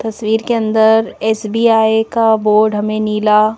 तस्वीर के अंदर एस_बी_आई का बोर्ड हमे नीला--